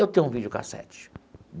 Eu tenho um videocassete.